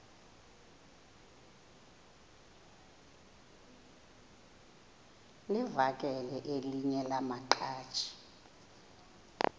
livakele elinye lamaqhaji